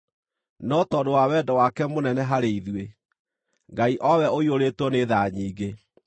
No tondũ wa wendo wake mũnene harĩ ithuĩ, Ngai, o we ũiyũrĩtwo nĩ tha nyingĩ,